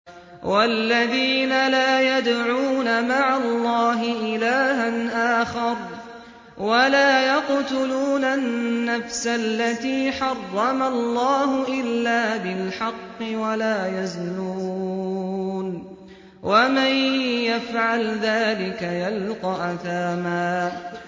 وَالَّذِينَ لَا يَدْعُونَ مَعَ اللَّهِ إِلَٰهًا آخَرَ وَلَا يَقْتُلُونَ النَّفْسَ الَّتِي حَرَّمَ اللَّهُ إِلَّا بِالْحَقِّ وَلَا يَزْنُونَ ۚ وَمَن يَفْعَلْ ذَٰلِكَ يَلْقَ أَثَامًا